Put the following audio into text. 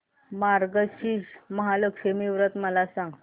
मार्गशीर्ष महालक्ष्मी व्रत मला सांग